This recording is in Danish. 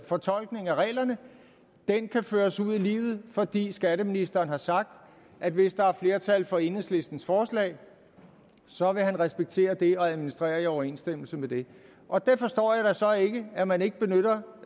fortolkning af reglerne nu kan føres ud i livet fordi skatteministeren har sagt at hvis der er flertal for enhedslistens forslag så vil han respektere det og administrere i overensstemmelse med det og jeg forstår da så ikke at man ikke benytter